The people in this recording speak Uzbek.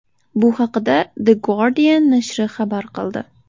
Bu haqda The Guardian nashri xabar qildi .